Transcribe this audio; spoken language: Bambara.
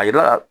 A yira la